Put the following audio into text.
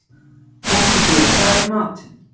Konkordía, hvað er í matinn?